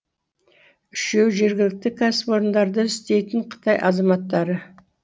үшеуі жергілікті кәсіпорындарда істейтін қытай азаматтары